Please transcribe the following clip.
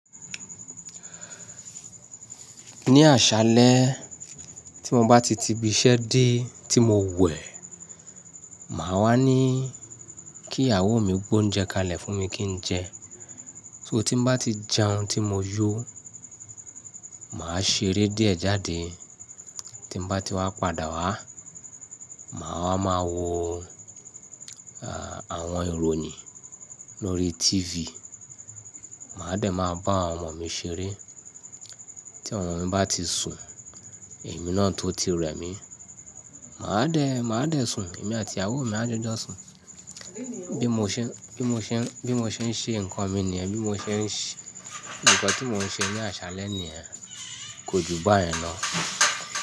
Ní àṣálẹ́ tí mo bá ti ti ibi iṣẹ́ dé tí mo wẹ̀, màá wá ní kí ìyàwó mi gbé oúnjẹ kalẹ̀ fún mi kí n jẹ. Tí mo bá ti jẹun tí mo yó, màá ṣeré díẹ̀ jáde. Tí n bá ti wá padà wá, màá máa wo àwọn ìròyìn lórí TV. Màá dẹ̀ máa bá àwọn ọmọ mi ṣeré. Tí àwọn ọmọ mi bá ti sùn, èmi náà tó ti rẹ̀ mí, màá dẹ̀, màá dẹ̀ sùn. Èmi àti ìyàwó mi a jọ sùn. Bí mo ṣe, bí mo ṣe, bí mo ṣe ń ṣe nǹkan mi nìyẹn. Bí mo ṣe ń ṣe, nǹkan tí mo ń ṣe ní àṣálẹ́ nìyẹn, kò ju báyẹn lọ.